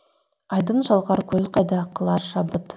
айдын шалқар көл қайда қылар шабыт